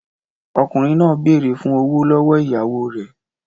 Ọkùnrin náà béèrè fún ọ̀wọ̀ lọ́wọ́ ìyàwó rẹ̀